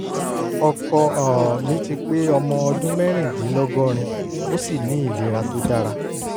ọkọ um mi ti pé ọmọ ọdún mẹ́rìndínlọ́gọ́rin ó sì ní ìlera tó dára